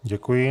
Děkuji.